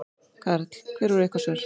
Karl: Hver voru ykkar svör?